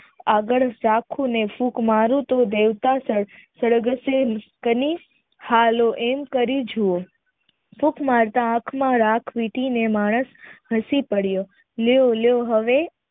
આગળ ફૂંક મારુ તો કરી એમ હાલો એમ કરી જોવો ફૂંક મારતા હસી પડ્યો લ્યો લ્યો હવે